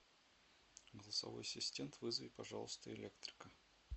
голосовой ассистент вызови пожалуйста электрика